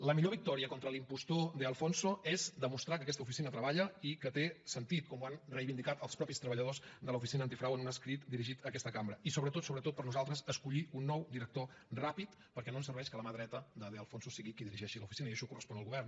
la millor victòria contra l’impostor de alfonso és demostrar que aquesta oficina treballa i que té sentit com ho han reivindicat els mateixos treballadors de l’oficina antifrau en un escrit dirigit a aquesta cambra i sobretot sobretot per nosaltres escollir un nou director ràpid perquè no ens serveix que la mà dreta de de alfonso sigui qui dirigeixi l’oficina i això correspon al govern